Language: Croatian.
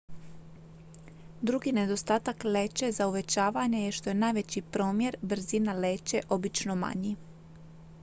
drugi nedostatak leće za uvećavanje je što je najveći promjer brzina leće obično manji